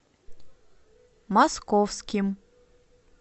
московским